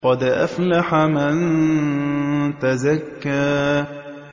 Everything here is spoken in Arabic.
قَدْ أَفْلَحَ مَن تَزَكَّىٰ